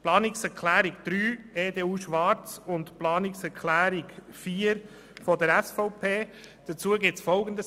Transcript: Zu den Planungserklärungen 3 EDU/Schwarz und 4 SVP ist Folgendes zu sagen: